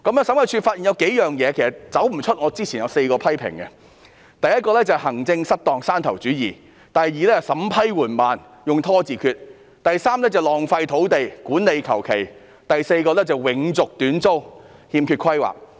審計處發現數個問題，其實離不開我之前作出的4個批評：第一，行政失當、山頭主義；第二，審批緩慢，用"拖字訣"；第三，浪費土地、管理馬虎；第四，永續短租、欠缺規劃。